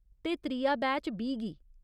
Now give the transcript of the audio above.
ते, त्रिया बैच बीह् गी।